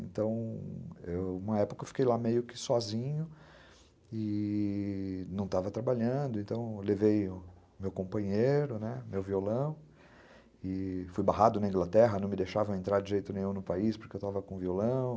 Então, uma época eu fiquei lá meio que sozinho e não estava trabalhando, então eu levei o meu companheiro, né, meu violão, e fui barrado na Inglaterra, não me deixavam entrar de jeito nenhum no país porque eu estava com violão.